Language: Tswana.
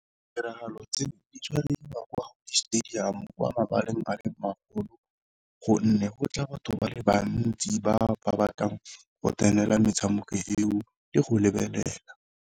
Tiragalo tse di tshwariwa kwa di stadium kwa mabaleng a magolo, gonne go tla batho ba le bantsi ba ba batlang go tsenela metshameko eo le go lebelela.